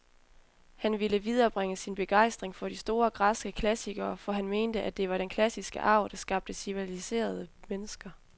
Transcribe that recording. Han ville viderebringe sin begejstring for de store, græske klassikere, for han mente, at det var den klassiske arv, der skabte civiliserede mennesker.